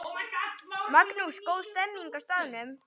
Magnús: Góð stemning á staðnum?